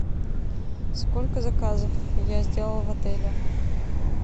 сколько заказов я сделала в отеле